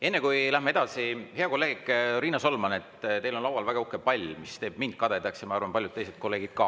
Enne kui läheme edasi, ütlen heale kolleegile Riina Solmanile, et teil on laual väga uhke pall, mis teeb kadedaks mind ja ma arvan, et paljusid teisi kolleege ka.